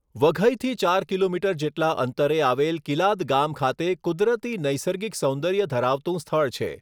વઘઇથી ચાર કિલોમીટર જેટલા અંતરે આવેલ કીલાદ ગામ ખાતે કુદરતી નૈસર્ગિક સૌંદર્ય ધરાવતું સ્થળ છે.